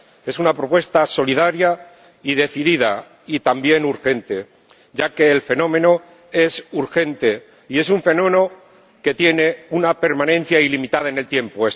Es una propuesta solidaria y decidida, y también urgente, ya que el fenómeno es urgente y tiene una permanencia ilimitada en el tiempo.